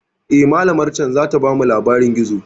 Eh, malamar can zata bamu labarin gizo.